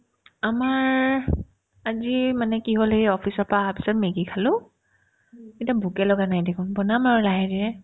আমাৰ আজি মানে কি হ'ল এই office ৰ পৰা আহাৰ পিছত মেগী খালো এতিয়া ভোকেই লগা নাই দেখোন বনাম আৰু লাহে ধীৰে